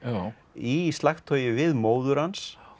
í slagtogi við móður hans